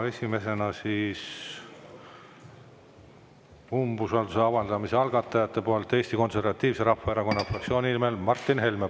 Esimesena umbusalduse avaldamise algatajate nimel Eesti Konservatiivse Rahvaerakonna fraktsiooni esindaja Martin Helme.